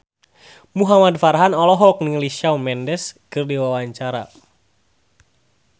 Muhamad Farhan olohok ningali Shawn Mendes keur diwawancara